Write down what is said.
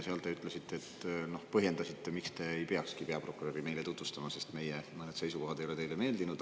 Te ütlesite, põhjendasite, miks te ei peakski peaprokuröri meile tutvustama: sest mõned meie seisukohad ei ole teile meeldinud.